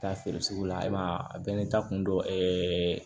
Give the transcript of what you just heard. Taa feere sugu la ayiwa a bɛɛ n'i ta kun dɔ ɛɛ